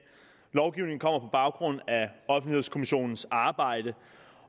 lovgivningen kommer på baggrund af offentlighedskommissionens arbejde